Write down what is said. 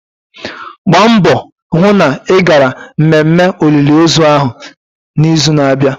Gba mbọ hụ na ị gara mmemme olili ozu ahụ na-izu n'abịa!